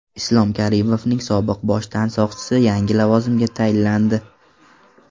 Islom Karimovning sobiq bosh tansoqchisi yangi lavozimga tayinlandi .